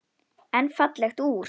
En fallegt úr.